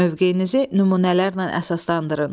Mövqeyinizi nümunələrlə əsaslandırın.